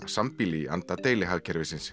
sambýli í anda deilihagkerfisins